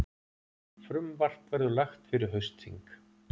Frumvarp verður lagt fyrir haustþing